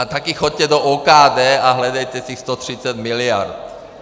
A také jděte do OKD a hledejte těch 130 miliard.